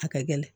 A ka gɛlɛn